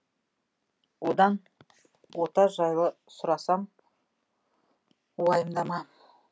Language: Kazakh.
одан ота жайлы сұрасам уайымдама